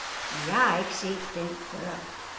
Men jeg har ikke set den før.